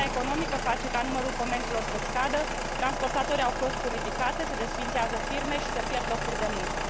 Criza economică face ca numărul comenzilor să scadă, transportatorii au costuri ridicate, se desființează firme și se pierd locuri de muncă.